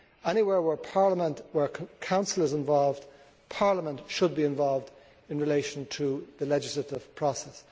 Anywhere where Council is involved, Parliament should be involved in relation to the legislative process.